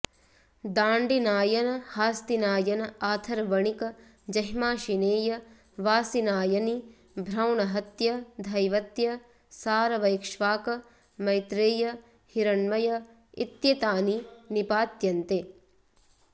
दाण्दिनायन हास्तिनायन आथर्वणिक जैह्माशिनेय वासिनायनि भ्रौणहत्य धैवत्य सारव ऐक्ष्वाक मैत्रेय हिरण्मय इत्येतानि निपात्यन्ते